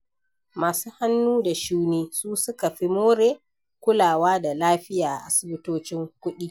Masu hannu da shuni su suka fi more kulawa da lafiya a asibitocin kuɗi.